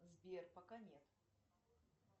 сбер пока нет